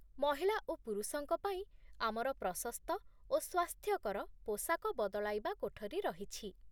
ମହିଳା ଓ ପୁରୁଷଙ୍କ ପାଇଁ ଆମର ପ୍ରଶସ୍ତ ଓ ସ୍ୱାସ୍ଥ୍ୟକର ପୋଷାକ ବଦଳାଇବା କୋଠରୀ ରହିଛି